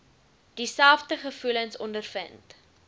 dieselfde gevoelens ondervind